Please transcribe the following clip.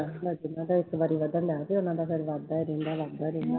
ਇੱਕ ਵਾਰ ਵੱਧਦਾ, ਮੈਂ ਵੀ ਉਹਨਾਂ ਦਾ ਫਿਰ ਵੱਧਦਾ ਰਹਿੰਦਾ ਵੱਧਦਾ ਰਹਿੰਦਾ